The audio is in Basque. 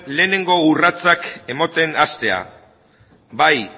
lehenengo urratsak ematen hastea bai